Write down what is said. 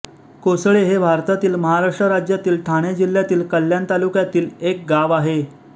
कोसळे हे भारतातील महाराष्ट्र राज्यातील ठाणे जिल्ह्यातील कल्याण तालुक्यातील एक गाव आहे